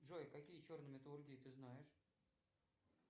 джой какие черные металлургии ты знаешь